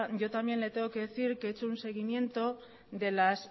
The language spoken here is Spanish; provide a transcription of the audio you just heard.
yo también le tengo que decir que he hecho un seguimiento de las